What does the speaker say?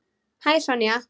Hæ, Sonja.